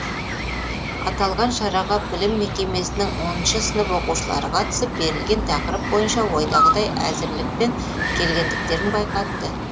аталған шараға білім мекемесінің оныншы сынып оқушылары қатысып берілген тақырып бойынша ойдағыдай әзірлікпен келгендіктерін байқатты